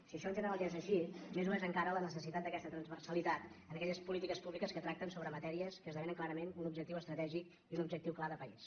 si això en general ja és així més ho és encara la necessitat d’aquesta trans·versalitat en aquelles polítiques públiques que tracten sobre matèries que esdevenen clarament un objectiu estratègic i un objectiu clar de país